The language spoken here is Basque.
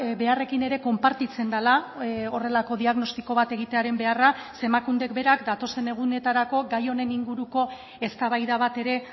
beharrekin ere konpartitzen dela horrelako diagnostiko bat egitearen beharra ze emakundek berak datozen egunetarako gai honen inguruko eztabaida bat ere